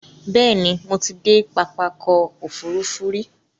Bẹ́ẹ̀ni, Mo ti de pápákọ̀ òfurufú rí